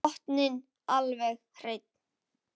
Botninn alveg hreinn.